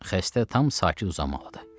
Xəstə tam sakit uzanmalıdır.